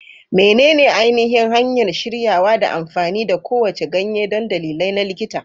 Menene ainihin hanyar shiryawa da amfani da kowace ganye don dalilai na likita?